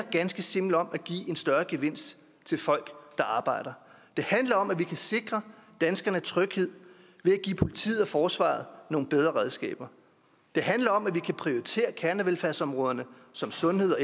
ganske simpelt om at give en større gevinst til folk der arbejder det handler om at vi kan sikre danskernes tryghed ved at give politiet og forsvaret nogle bedre redskaber det handler om at vi kan prioritere kernevelfærdsområderne som sundhed og